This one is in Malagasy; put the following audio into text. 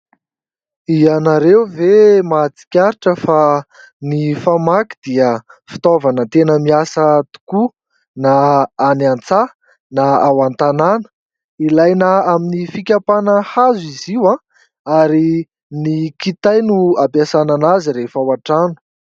Ianareo ve mahatsikaritra fa ny famaky dia fitaovana tena miasa tokoa, na any an-tsaha, na ao an-tanàna ? Ilaina amin'ny fikapana hazo izy io ary ny kitay no ampiasana an'azy rehefa ao an-trano.